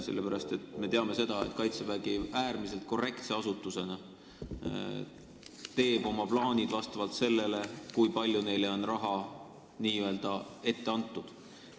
Sellepärast, et me teame seda, et Kaitsevägi äärmiselt korrektse asutusena teeb oma plaanid selle järgi, kui palju on neile raha n-ö ette antud.